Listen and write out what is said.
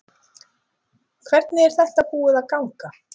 Hvernig er þetta búið að ganga?